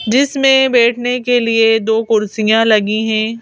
जिसमें बैठने के लिए दो कुर्सियां लगी हैं।